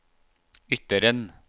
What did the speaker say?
Ytteren